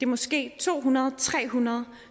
måske to hundrede tre hundrede